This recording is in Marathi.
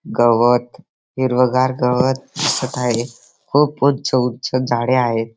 गवत हिरवगार गवत दिसत आहे खूप उंच उंच झाडे दिसत आहेत.